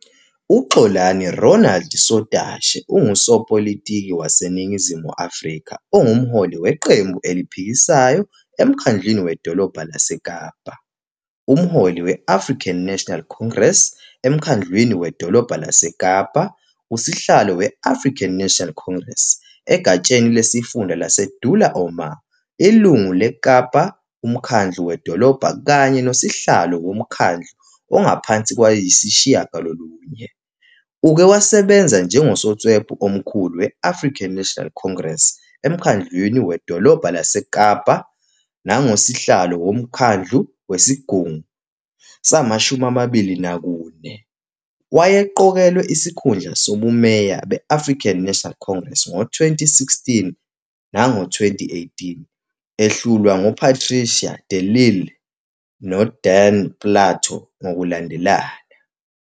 UXolani Ronald Sotashe ungusopolitiki waseNingizimu Afrika onguMholi weQembu Eliphikisayo eMkhandlwini Wedolobha laseKapa, uMholi we- African National Congress eMkhandlwini Wedolobha laseKapa, uSihlalo we-African National Congress egatsheni lesifunda laseDullah Omar, Ilungu leKapa UMkhandlu Wedolobha kanye noSihlalo woMkhandlu Ongaphansi 9. Uke wasebenza njengoSotswebhu Omkhulu we-African National Congress eMkhandlwini Wedolobha laseKapa nangoSihlalo woMkhandlu Wesigungu sama-24. Wayeqokelwe isikhundla sobumeya be-African National Congress ngo-2016 nango-2018, ehlulwa nguPatricia de Lille noDan Plato ngokulandelana.